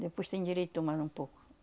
Depois se endireitou mais um pouco.